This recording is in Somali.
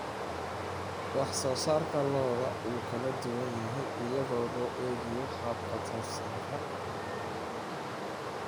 Wax soo saarka lo'du wuu kala duwan yahay iyadoo loo eegayo hababka taranta.